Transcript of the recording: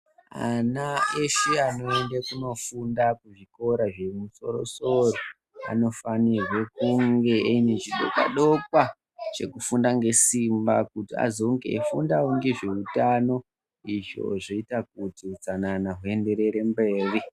Ana eshe anoenda kunofunda kuzvikora zvekumusoro-soro, anofanirwe kunge aine chidokwa-dokwa, chekufunda ngesimba, kuti azonge eifundawo ngezve utano, izvo zvoita kuti utsanana huenderere mberi.